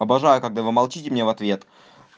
обожаю когда вы молчите мне в ответ